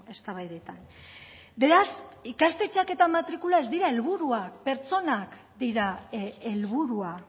eztabaidetan beraz ikastetxeak eta matrikula ez dira helburua pertsonak dira helburua